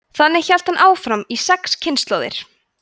þannig hélt hann áfram í sex kynslóðir